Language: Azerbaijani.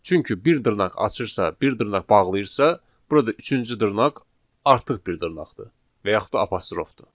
Çünki bir dırnaq açırsa, bir dırnaq bağlayırsa, burada üçüncü dırnaq artıq bir dırnaqdır, və yaxud da apostrofdur.